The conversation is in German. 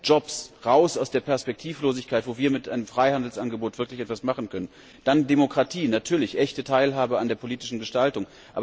Jobs, heraus aus der Perspektivlosigkeit, so dass wir mit einem Freihandelsangebot wirklich etwas anfangen können! Dann Demokratie, natürlich, echte Teilhabe an der politischen Gestaltung.